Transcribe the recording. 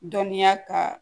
Dɔnniya ka